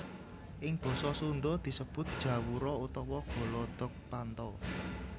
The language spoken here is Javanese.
Ing basa Sunda disebut jawura utawa golodogpanto